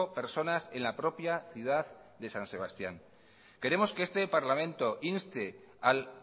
personas en la propia ciudad de san sebastián queremos que este parlamento inste al